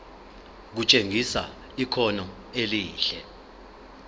kutshengisa ikhono elihle